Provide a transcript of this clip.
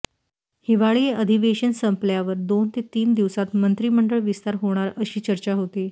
हिवाळी अधिवेशन संपल्यावर दोन ते तीन दिवसात मंत्रिमंडळ विस्तार होणार अशी चर्चा होती